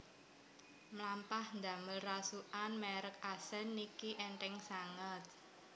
Mlampah ndamel rasukan merk Accent niki entheng sanget